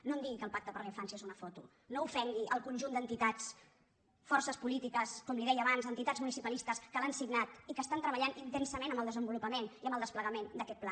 no em digui que el pacte per la infància és una foto no ofengui el conjunt d’entitats forces polítiques com li deia abans entitats municipalistes que l’han signat i que estan treballant intensament en el desenvolupa·ment i en el desplegament d’aquest pla